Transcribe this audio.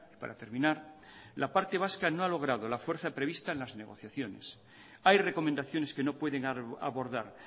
para terminar la parte vasca no ha logrado la fuerza prevista en las negociaciones hay recomendaciones que no pueden abordar